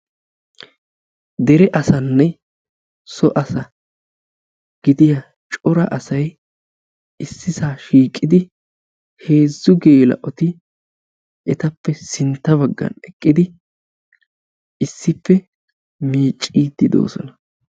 Dere asanne so asa gidiya cora asay issisaa shiiqidi heezzu geela'oti etappe sintta baggan eqqidi issippe miicciiddi doosona.